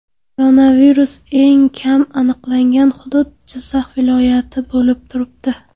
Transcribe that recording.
Koronavirus eng kam aniqlangan hudud Jizzax viloyati bo‘lib turibdi.